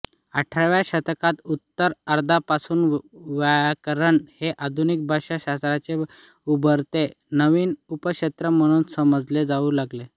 अठराव्या शतकाच्या उत्तरार्धापासून व्याकरण हे आधुनिक भाषा शास्त्राचे उभरते नवीन उपक्षेत्र म्हणून समजले जाऊ लागले